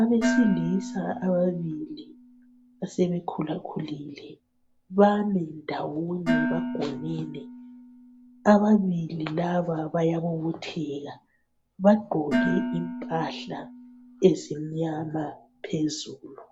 Abesilisa ababili abasebekhulakhulile bami ndawonye bangonene, ababili laba bayabobotheka bagqoke impahla ezimnyama phezulu